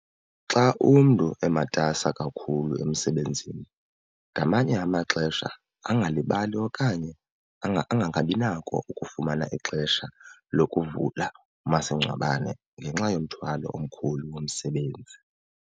Xa umntu ematasa kakhulu emsebenzini ngamanye amaxesha angalibali okanye angangabi nako ukufumana ixesha lokuvula umasingcwabane ngenxa yomthwalo omkhulu womsebenzi.